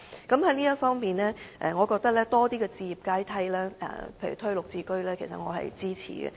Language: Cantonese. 在這方面，政府提供更多置業階梯，例如"綠表置居計劃"，我對此表示支持。